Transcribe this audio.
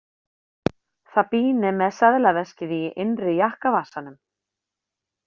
Fabienne með seðlaveskið í innri jakkavasanum.